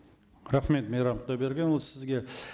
рахмет мейрам құдайбергенұлы сізге